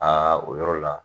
Aa o yɔrɔ la